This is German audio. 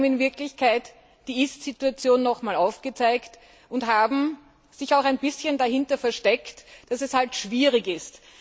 Sie haben in Wirklichkeit die Ist Situation noch einmal aufgezeigt und sich auch ein bisschen dahinter versteckt, dass es halt schwierig ist.